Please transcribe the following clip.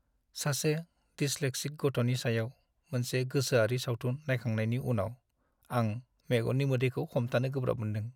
सासे डिसलेक्सिक गथ'नि सायाव मोनसे गोसोआरि सावथुन नायखांनायनि उनाव आं मेगननि मोदैखौ हमथानो गोब्राब मोनदों।